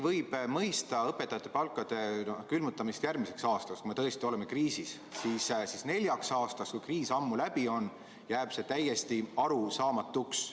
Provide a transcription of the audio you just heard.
Võib mõista õpetajate palkade külmutamist järgmiseks aastaks, sest me tõesti oleme kriisis, aga neljaks aastaks, kui kriis ammu läbi on – see jääb täiesti arusaamatuks.